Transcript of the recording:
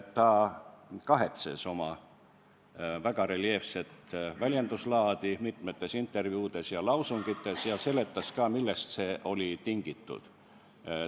Ta kahetses oma väga reljeefset väljenduslaadi mitmes intervjuus ja lausungis ning seletas ka, millest see oli tingitud.